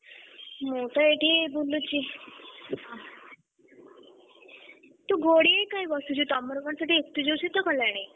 ମୁଁ ତ ଏଇଠି ବୁଲୁଛି ତୁ ଘୋଡ଼ିହେଇ କାଇଁ ବସିଛୁ, ତମର କଣ ସେଠି ଏତେ ଜୋରେ ଶୀତ କଲାଣି?